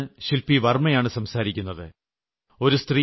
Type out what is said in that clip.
ബാംഗ്ലൂരിൽ നിന്ന് ശിൽപി വർമ്മയാണ് സംസാരിക്കുന്നത്